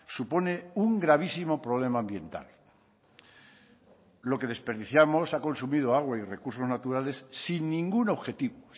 supone un gravísimo problema ambiental lo que desperdiciamos ha consumido agua y recursos naturales sin ningún objetivo